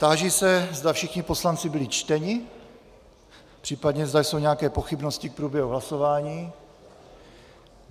Táži se, zda všichni poslanci byli čteni, případně zda jsou nějaké pochybnosti k průběhu hlasování.